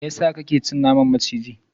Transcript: meyasa kake ci naman maciji?